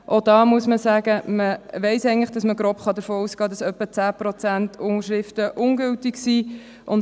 Auch hier muss man sagen, dass man grob geschätzt davon ausgehen kann, dass etwa zehn Prozent der Unterschriften ungültig sind.